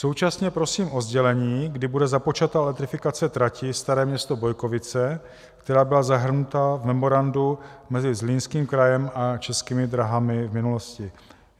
Současně prosím o sdělení, kdy bude započata elektrifikace trati Staré Město - Bojkovice, která byla zahrnuta v memorandu mezi Zlínským krajem a Českými dráhami v minulosti.